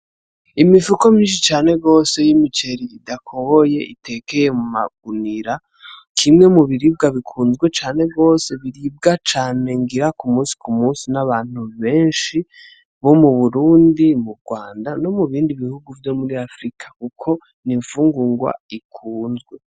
Imifuko myishi cane gose y'imiceri idakoboye itekeye mu magunira kimwe mu biribwa bikunzwe cane gose biribwa cane ngira kumusikumusi n'abantu beshi bo mu Burundi, mu Rwanda no mubindi bihugo vyo muri afirika kuko n'imfungurwa ikunzwe.